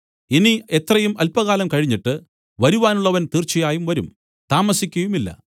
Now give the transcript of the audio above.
ഇനി എത്രയും അല്പകാലം കഴിഞ്ഞിട്ട് വരുവാനുള്ളവൻ തീർച്ചയായും വരും താമസിക്കയുമില്ല